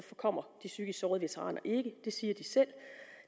kommer de psykisk sårede veteraner ikke det siger de selv